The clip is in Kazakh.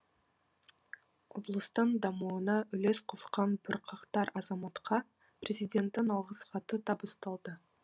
облыстың дамуына үлес қосқан бірқатар азаматқа президенттің алғыс хаты табысталды